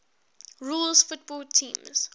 rules football teams